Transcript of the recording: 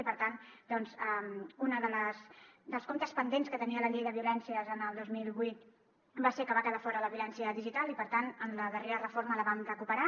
i per tant un dels comptes pendents que tenia la llei de violències el dos mil vuit va ser que en va quedar fora la violència digital i per tant en la darrera reforma la vam recuperar